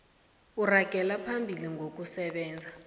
ukuragela phambili ngokusebenza